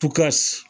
Tukasi